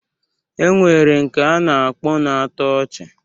E nwere nke a na-akpọ na-atọ ọchị